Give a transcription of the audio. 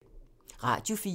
Radio 4